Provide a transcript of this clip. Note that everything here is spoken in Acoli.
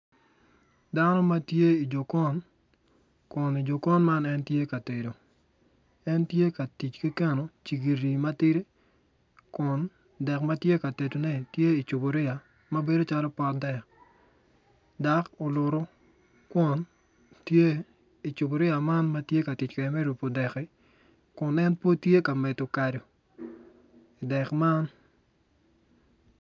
Dano ma tye i jokon kun i jokon man en tye ka tedo en tye ka tic keno cigiri matidi kun dek ma tye ka tedone tye i cuburiya ma bedo calo pot dek dok olutu kwon tye i cuburiya man ma tye ka kede me rupu dekki kun en pud tye ka meddo kado idek man